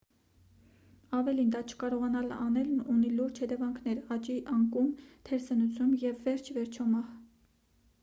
ավելին դա չկարողանալ անելն ունի լուրջ հետևանքներ աճի անկում թերսնուցում և վերջիիվերջո մահ